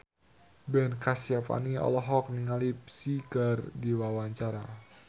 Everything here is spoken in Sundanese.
Ben Kasyafani olohok ningali Psy keur diwawancara